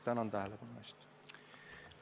Tänan tähelepanu eest!